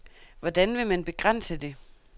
Hvordan vil man begrænse det?